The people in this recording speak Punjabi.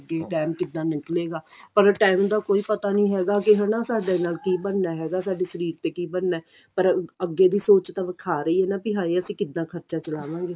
ਅੱਗੇ ਟੈਮ ਕਿੱਦਾਂ ਨਿਕਲੇ ਗਾ ਪਰ ਟੇਮ ਦਾ ਕੋਈ ਪਤਾ ਨਹੀਂ ਹੈਗਾ ਕੀ ਹਣਾ ਸਾਡੇ ਨਾਲ ਕੀ ਬਣਨਾ ਹੈਗਾ ਸਾਡੇ ਸ਼ਰੀਰ ਤੇ ਕੀ ਬਣਨਾ ਪਰ ਅੱਗੇ ਦੀ ਸੋਚ ਤਾਂ ਖਾ ਹੀ ਰਹੀ ਏ ਬੀ ਹਾਏ ਅਸੀਂ ਕਿੱਦਾਂ ਖਰਚਾ ਚਲਾਵਾਂਗੇ